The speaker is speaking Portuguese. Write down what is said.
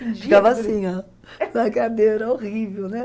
Ficava assim, ó, na cadeira, horrível, né?